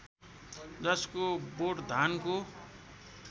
जसको बोट धानको